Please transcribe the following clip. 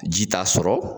Ji t'a sɔrɔ